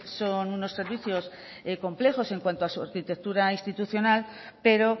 son unos servicios complejos en cuando a su arquitectura institucional pero